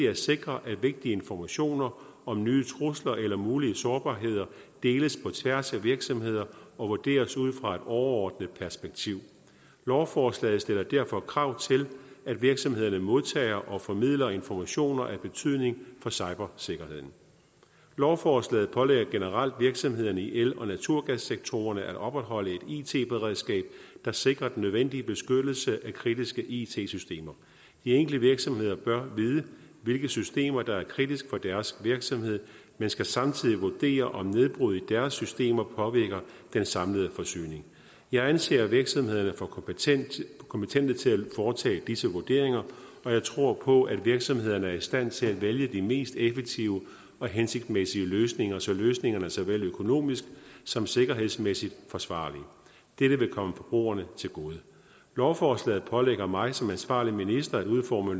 at sikre at vigtig informationer om nye trusler eller mulige sårbarheder deles på tværs af virksomheder og vurderes ud fra et overordnet perspektiv lovforslaget stiller derfor krav til at virksomhederne modtager og formidler informationer af betydning for cybersikkerheden lovforslaget pålægger generelt virksomhederne i el og naturgassektorerne at opretholde et it beredskab der sikrer den nødvendige beskyttelse af kritiske it systemer de enkelte virksomheder bør vide hvilke systemer der er kritiske for deres virksomhed man skal samtidig vurdere om nedbrud i deres systemer påvirker den samlede forsyning jeg anser virksomhederne for kompetente kompetente til at foretage disse vurderinger og jeg tror på at virksomhederne er i stand til at vælge de mest effektive og hensigtsmæssige løsninger så løsningerne såvel økonomisk som sikkerhedsmæssigt er forsvarlige dette vil komme forbrugerne til gode lovforslaget pålægger mig som ansvarlig minister at udforme